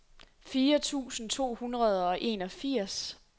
fire tusind to hundrede og enogfirs